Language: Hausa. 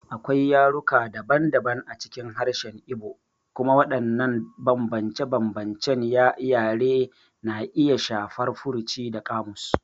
Akwai yaruka daban-daban a cikin harshen Igbo, kuma waɗannan bambance-bambancen yare na iya shafar furuci da ƙamus.